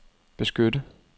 beskytte